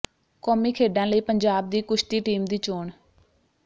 ਕੌਮੀ ਖੇਡਾਂ ਲਈ ਪੰਜਾਬ ਦੀ ਕੁਸ਼ਤੀ ਟੀਮ ਦੀ ਚੋਣ